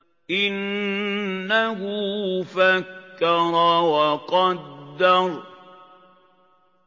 إِنَّهُ فَكَّرَ وَقَدَّرَ